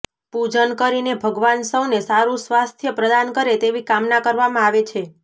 પૂજન કરીને ભગવાન સૌને સારું સ્વાસ્થ્ય પ્રદાન કરે તેવી કામના કરવામાં આવે છે